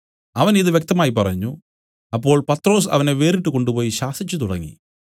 അവൻ ഇതു വ്യക്തമായി പറഞ്ഞു അപ്പോൾ പത്രൊസ് അവനെ വേറിട്ടു കൊണ്ടുപോയി ശാസിച്ചുതുടങ്ങി